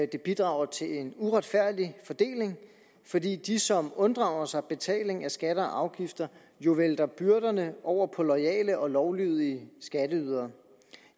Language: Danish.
det bidrager til en uretfærdig fordeling fordi de som unddrager sig betaling af skatter og afgifter jo vælter byrderne over på loyale og lovlydige skatteydere